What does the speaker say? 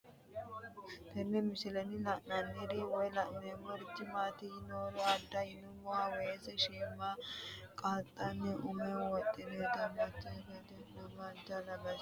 Tenne misilenni la'nanniri woy leellannori maattiya noori amadde yinummoro weese shiimmada qanxinne umme mittowa duunoonni mittowa kayi mayiira duunoniro dianifoonni